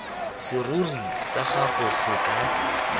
serori sa gago se ka